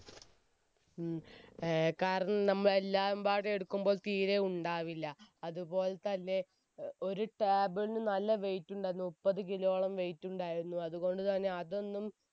ഉം ആഹ് കാരണം നമ്മൾ എല്ലാബാടും എടുക്കുംപ്പോൾ തീരെ ഉണ്ടാവില്ല അതുപോൽ തന്നെ ഒരു table ന് നല്ല weight ട്ടുണ്ടായിരുന്നു മുപ്പത് കിലോയോളം weight ഉണ്ടായിരുന്നു അതുകൊണ്ട് തന്നെ